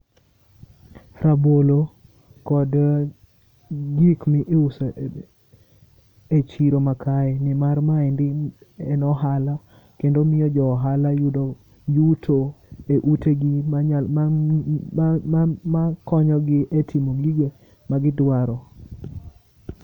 Rabolo kod gik mi iuso e chiro ma kae .Ni mar maendi en ohala kendo omiyo jo ohala yudo yuto e utegi makonyogi e timo gigo ma gidwaro.